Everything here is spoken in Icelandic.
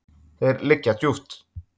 Þeir liggja djúpt.